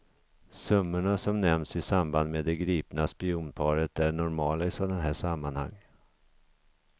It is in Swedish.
Summorna, som nämnts i samband med det gripna spionparet, är normala i sådana här sammanhang.